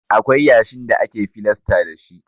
Akwai yashin da ake filasta dashi.